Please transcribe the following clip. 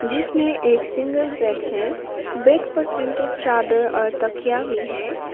इसमें एक single bed है बेड पर प्रिंटेड चादर और तकिया भी है।